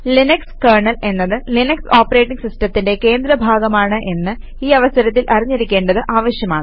Linux kernel എന്നത് Linux operating സിസ്റ്റത്തിന്റെ കേന്ദ്ര ഭാഗമാണ് എന്ന് ഈ അവസരത്തിൽ അറിഞ്ഞിരിക്കേണ്ടത് ആവശ്യമാണ്